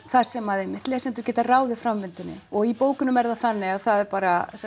þar sem einmitt lesendur geta ráðið framvindunni og í bókunum er það þannig að það er bara